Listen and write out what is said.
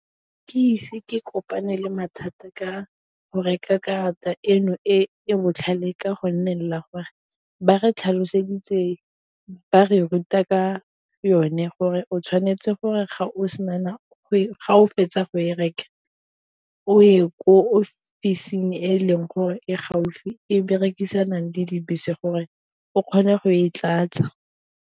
Ke ise ke kopane le mathata ka go reka karata eno e e botlhale ka go nne la gore ba re tlhaloseditswe ba re ruta ka yone gore o tshwane itse gore ga o fetsa go e reka, o ye ko ofising e leng gore e gaufi e berekisang di dibese gore o kgone go e tlatsa.